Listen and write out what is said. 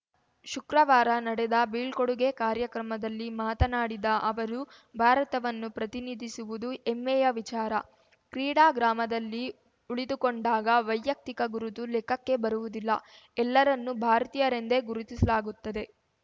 ಶುಕ್ರವಾರ ನಡೆದ ಬೀಳ್ಕೊಡುಗೆ ಕಾರ್ಯಕ್ರಮದಲ್ಲಿ ಮಾತನಾಡಿದ ಅವರು ಭಾರತವನ್ನು ಪ್ರತಿನಿಧಿಸುವುದು ಹೆಮ್ಮೆಯ ವಿಚಾರ ಕ್ರೀಡಾ ಗ್ರಾಮದಲ್ಲಿ ಉಳಿದುಕೊಂಡಾಗ ವೈಯಕ್ತಿಕ ಗುರುತು ಲೆಕ್ಕಕ್ಕೆ ಬರುವುದಿಲ್ಲ ಎಲ್ಲರನ್ನೂ ಭಾರತೀಯರೆಂದೇ ಗುರುತಿಸಲಾಗುತ್ತದೆ